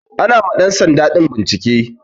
Ana ma ɗan sanda din bincike.